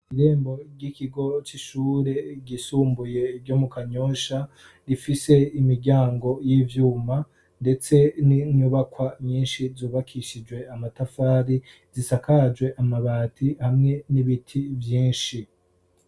Irembo ry'ikigo c'ishure ryisumbuye ryo mu Kanyosha rifise imiryango y'ivyuma, ndetse n'inyubakwa nyinshi zubakishijwe amatafari zisakajwe amabati hamwe n'ibiti vyinshi.